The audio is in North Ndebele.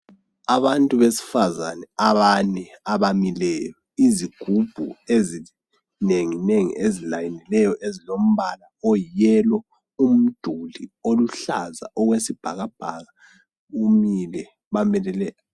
Abantu besfazane abane abamileyo. Izigubhu ezinenginengi ezilayinileyo ezilombala oyiyelo. Umduli oluhlaza okwesibhakabhaka umile, bamelele...